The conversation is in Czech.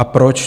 A proč?